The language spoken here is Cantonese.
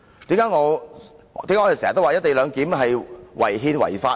為何我們常說"一地兩檢"是違憲違法呢？